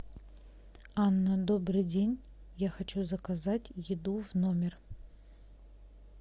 анна добрый день я хочу заказать еду в номер